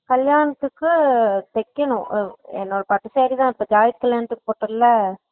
கல்யாணத்துக்கு தெக்கணும் என்னோட பட்டு saree தான் இப்போ பாய் கல்யாணத்துக்கு போட்டேன்ல